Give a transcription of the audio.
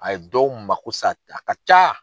A ye dɔw mako sa a ka ca.